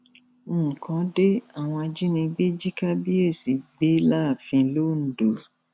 nǹkan de àwọn ajìnígbè jí kábíyèsí gbé láàfin londo